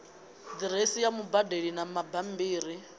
diresi ya mubadeli na bambiri